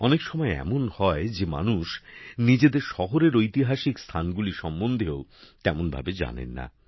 অনেক সময় এমন হয় যে মানুষ নিজেদের শহরের ঐতিহাসিক স্থানগুলি সম্বন্ধেও তেমনভাবে জানেন না